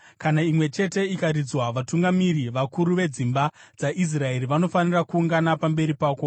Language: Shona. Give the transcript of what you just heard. Kana imwe chete ikaridzwa, vatungamiri, vakuru vedzimba dzaIsraeri, vanofanira kuungana pamberi pako.